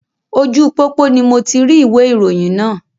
Ojú pópó ni moti rí ìwé ìròyìn náà